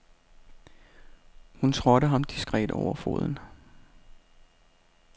Hun trådte ham diskret over foden.